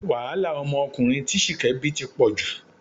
Wàhálà ọmọkùnrin tí Ṣìkẹ́ bí ti pọ̀ jù